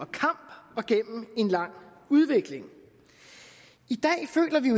kamp og gennem en lang udvikling i dag føler vi